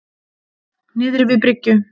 Niðri við bryggju.